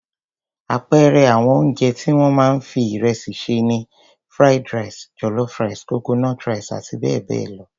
Àpẹẹrẹ àwọn oúnjẹ tí wọ́n máa ń fi ìrẹsì sè ni Fried rice, jollof rice, coconut rice àti bẹ́ẹ̀ bẹ́ẹ̀ lọ.